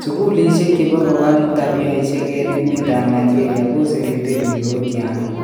Sukulishek chepo kowal tabiaishek en emet ap Nigeria koserete pik kou tianyik